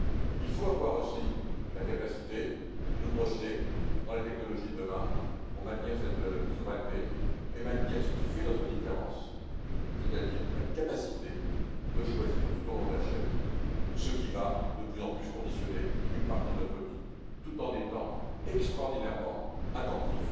Il faut avoir aussi la capacité de nous projeter dans les technologies de demain pour maintenir cette souveraineté et maintenir ce qui fait notre différence, c'est à dire la capacité de choisir, tout au long de la chaîne, ce qui va de plus en plus conditionner une partie de notre vie, tout en étant extraordinairement attentifs